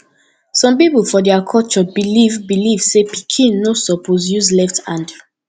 some people for dia culture believe believe say pikin no suppose use left hand